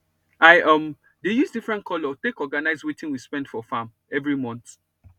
i um dey use different colour take organize wetin we spend for farm everi month